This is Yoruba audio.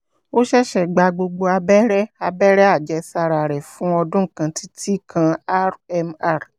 ó ṣẹ̀ṣẹ̀ gba gbogbo abẹ́rẹ́ abẹ́rẹ́ àjẹsára rẹ̀ fún ọdún kan títí kan rmr